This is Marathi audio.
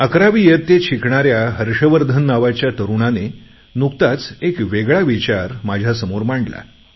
अकरावी इयत्तेत शिकणाऱ्या हर्षवर्धन नावाच्या तरुणाने नुकताच एक वेगळा विचार माझ्यासमोर मांडला